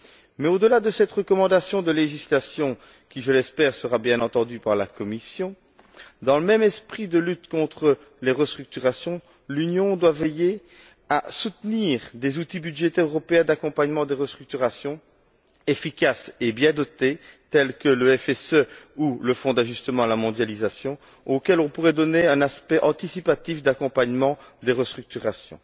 Mais au delà de cette recommandation de législation qui, je l'espère, sera bien entendue par la Commission, dans le même esprit de lutte contre les restructurations, l'Union doit veiller à soutenir des outils budgétaires européens d'accompagnement des restructurations, efficaces et bien dotés, tels que le FSE ou le Fonds d'ajustement à la mondialisation, auxquels on pourrait donner un aspect anticipatif d'accompagnement des restructurations.